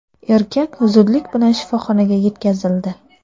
Erkak zudlik bilan shifoxonaga yetkazildi.